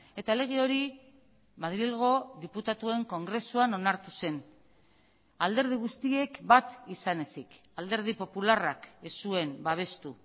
eta lege hori madrilgo diputatuen kongresuan onartu zen alderdi guztiek bat izan ezik alderdi popularrak ez zuen babestu